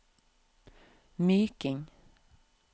Myking